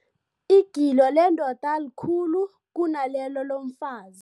Igilo lendoda likhulu kunalelo lomfazi.